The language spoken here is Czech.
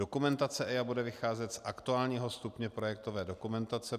Dokumentace EIA bude vycházet z aktuálního stupně projektové dokumentace.